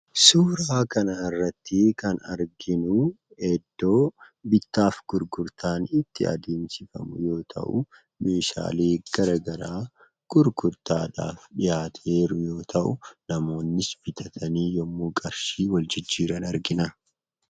Suuraa kanarratti kan arginuu iddoo bittaaf gurgurtaan itti adeemsifamu yoo ta'uu, meeshaalee garagaraa gurgurtaadhaaf dhiyaatee jiru yoo ta'u, namoonnis bitatanii yommuu qarshii wal jijjiiran argina.